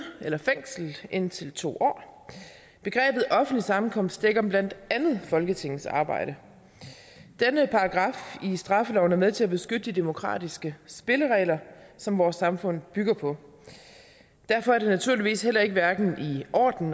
eller fængsel indtil to år begrebet offentlig sammenkomst dækker blandt andet folketingets arbejde denne paragraf i straffeloven er med til at beskytte de demokratiske spilleregler som vores samfund bygger på derfor er det naturligvis heller ikke hverken i orden